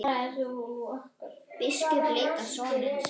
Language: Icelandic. Biskup leit á son sinn.